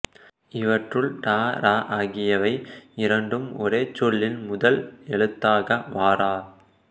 இவற்றுள் ட ற ஆகியவை இரண்டும் ஒரு சொல்லின் முதல் எழுத்தாக வாரா